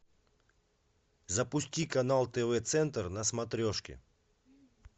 запусти канал тв центр на смотрешке